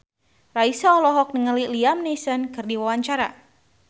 Raisa olohok ningali Liam Neeson keur diwawancara